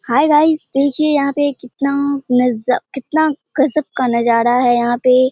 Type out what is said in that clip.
हाय guys देखिए यहाँ पे कितना नजा कितना गजब का नजारा है यहाँ पे ।